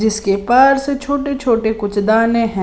जिसके पार से छोटे-छोटे कुछ दाने हैं।